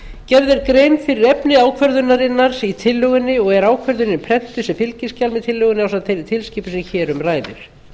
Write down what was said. gerð er grein fyrir efni ákvörðunarinnar í tillögunni og er ákvörðunin prentuð sem fylgiskjal við tillöguna ásamt þeirri tilskipun sem hér um ræðir